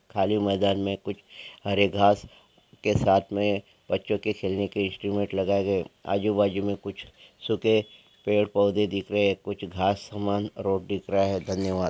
खाली मैदान मे कुछ हरे घाँस के साथ मे बच्चों के खेलने की इन्स्ट्रुमेंट लगाए गए है आजूबाजु मे कुछ सूखे पेड़पौधे दिख रहे है कुछ घाँस समान रोड दिख रहा है धन्यवाद।